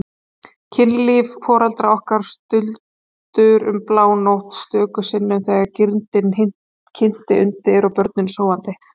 Kynlíf foreldra okkar stuldur um blánótt, stöku sinnum þegar girndin kynti undir og börnin sofandi.